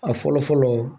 A fɔlɔ fɔlɔ